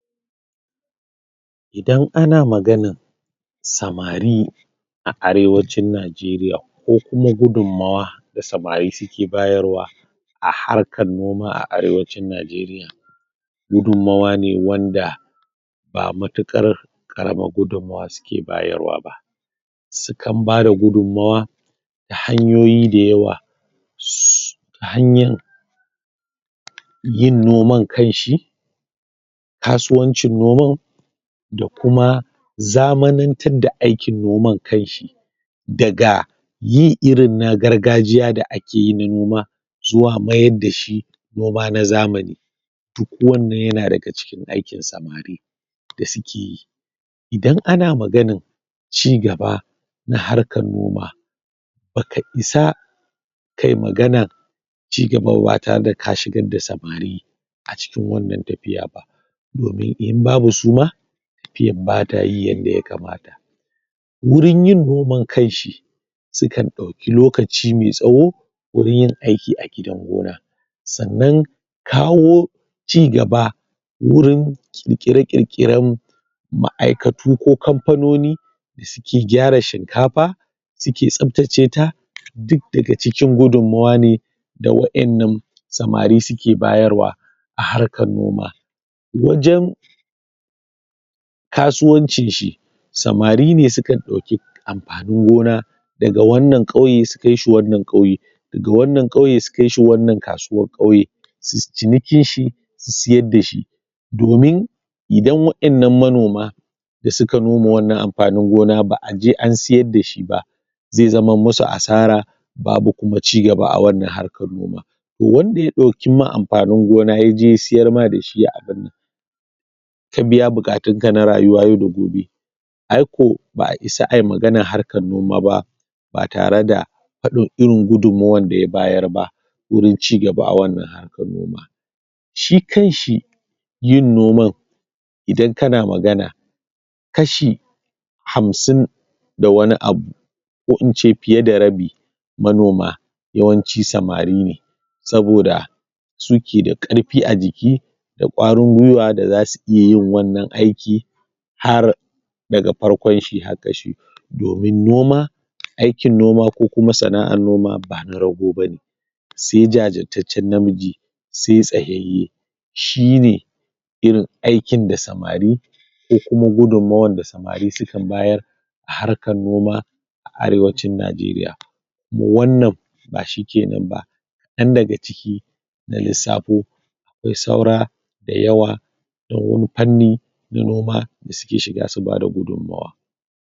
Idan ana maganan samari a arewacin Najeriya, ko kuma gudunmawa da samari suke bayarwa a harkar noma a arewacin Najeriya gudunmawa ne wanda ba matuƙar ƙaramar gudunmawa suke bayarwa ba. Sukan bada gudunmawa ta hanyoyi da yawa su hanyan yin noman kanshi, kasuwancin noman, da kuma, zamanantar da aikin noman kanshi, daga yin irin na gargajiya da ake yi na noma zuwa mayar da shi noma na zamani, duk wannan ya na daga cikin aikin samari da suke yi. Idan ana maganan cigaba na harkar noma ba ka isa kayi maganan cigaba ba tare da ka shigar da samari a cikin wannan tafiya ba, domin in babu su ma tafiyan ba ta yin yanda ya kamata. Wurin yin noman kanshi sukan ɗauki lokaci mai tsawo wurin yin aiki a gidan gona sannan, kawo cigaba wurin ƙirƙire-ƙirƙiren ma'aikatu ko kamfanoni da suke gyara shinkafa suke tsaftace ta duk daga cikin gudunmawa ne da waƴannan samari suke bayarwa a harkar noma. Wajen kasuwancin shi samari ne sukan ɗoki amfanin gona daga wannan ƙauye su kai shi wannan ƙauye daga wannan ƙauye su kai shi wannan kasuwar ƙauye su yi cinikin shi, su siyar da shi. Domin idan waƴannan manoma da suka noma wannan amfanin gona ba'a je an siyar da shi ba zai zaman musu asara, babu kuma cigaba a wannan harkar noma. Wanda ya ɗauki ma amfanin gona yaje ya siyar ma da shi a birni ka biya buƙatunka na rayuwa yau da gobe aiko ba'a isa ayi maganar harkar noma ba ba tare da faɗin irin gudunmawar da ya bayar ba wurin cigaba a wannan harkar noma. Shi kanshi yin noman idan ka na magana kashi hamsin da wani abu ko in ce fiye da rabin manoma yawanci samari ne saboda su ke da ƙarfi a jiki da ƙwarin gwiwa da za su iya yin wannan aiki har daga farkon shi har ƙarshe. Domin noma aikin noma ko kuma sana'ar noma ba na raggo bane, se jajirtaccen namiji, se tsayayye, shi ne irin aikin da samari ko kuma gudunmawan da samari sukan bayar a harkar noma a arewacin Najeriya. Kuma wannan ba shike nan ba kaɗan daga ciki na lissafo akwai saura da yawa da wani fanni na noma da suke shiga su ba da gudunmawa.